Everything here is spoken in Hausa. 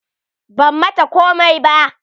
Ban mata komai ba.